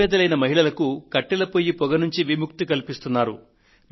నిరుపేదలైన మహిళలకు కట్టెల పొయ్యి పొగ బారి నుండి విముక్తి కల్పిస్తున్నారు